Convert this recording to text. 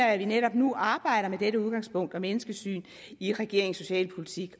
at vi netop nu arbejder med dette udgangspunkt og menneskesyn i regeringens socialpolitik